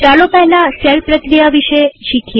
ચાલો પહેલા શેલ પ્રક્રિયા વિશે શીખીએ